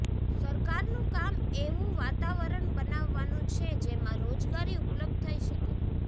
સરકારનું કામ એવું વાતાવરણ બનાવાનું છે જેમાં રોજગારી ઉપલબ્ધ થઇ શકે